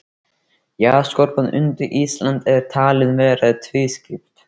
Jarðskorpan undir Íslandi er talin vera tvískipt.